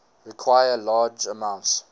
require large amounts